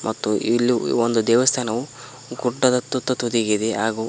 ಮತ್ತು ಇಲ್ಲಿ ಒಂದು ದೇವಸ್ಥಾನವು ಗುಡ್ಡದ ತುತ್ತ ತುದಿಗಿದೆ ಹಾಗು--